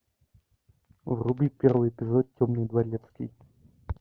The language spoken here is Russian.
вруби первый эпизод темный дворецкий